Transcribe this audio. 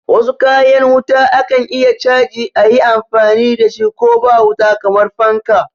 Wasu kayan wuta akan iya chaji ayi amfani dashi ko ba wuta kamar fanka